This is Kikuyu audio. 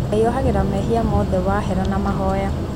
Ngai ohagĩra mehia mothe wahera na mahoya